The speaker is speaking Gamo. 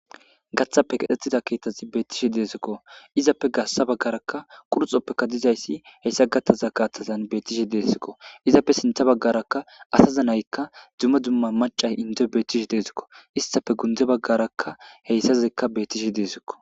Gathappe katetida keeththazi beettishi deesikko. izappe gassa baggarakka qurxoppekka dizayssi heyssa gattaza kaaththazan bettishe deesikko izappe sintha baggaraka asaza nayikka dumma dumma maccay inddoy bettishi deesikko. isttafe gundde baggarakka heyssazikka bettishe deesikko.